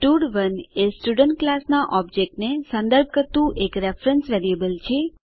સ્ટડ1 એ student class નાં object ને સંદર્ભ કરતું એક રેફરેન્સ વેરીએબલ છે